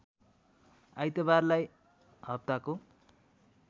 आइतबारलाई हप्ताको